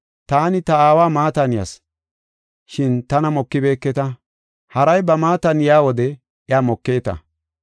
Taani ta Aawa maatan yas, shin tana mokibeketa. Haray ba maatan yaa wode iya mokeeta.